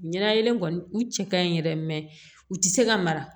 Ɲɛnayɛlen kɔni u cɛ ka ɲi yɛrɛ u tɛ se ka mara